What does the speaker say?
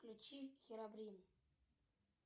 включи херабрин